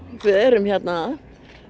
við erum hérna